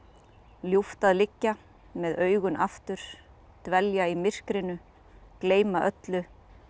ljúft að liggja með augun aftur dvelja í myrkrinu gleyma öllu